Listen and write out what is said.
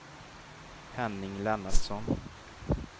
Henning Lennartsson